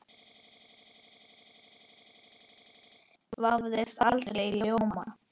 Ottó vafðist aldrei í ljóma.